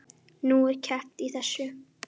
Nú, er keppt í þessu?